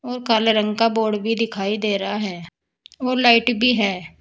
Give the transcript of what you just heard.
और काले रंग का बोर्ड भी दिखाई दे रहा है और लाइट भी है।